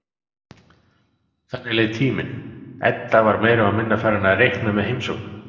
Þannig leið tíminn, Edda var meira og minna farin að reikna með heimsóknum